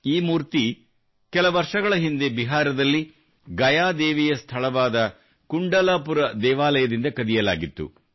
ಈ ಮೂರ್ತಿ ಕೆಲ ವರ್ಷಗಳ ಹಿಂದೆ ಬಿಹಾರದಲ್ಲಿ ಗಯಾ ದೇವಿಯ ಸ್ಥಳವಾದ ಕುಂಡಲಪುರ ದೇವಾಲಯದಿಂದ ಕದಿಯಲಾಗಿತ್ತು